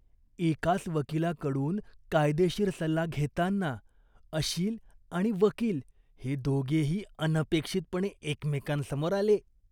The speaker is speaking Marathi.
एकाच वकिलाकडून कायदेशीर सल्ला घेताना, अशील आणि वकील हे दोघेही अनपेक्षितपणे एकमेकांसमोर आले.